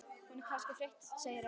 Hún er kannski þreytt segir Ása.